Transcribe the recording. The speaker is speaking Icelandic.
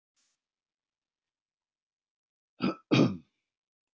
Skalt þú þegar láta af njósn um mína hagi en hafa verra af ella.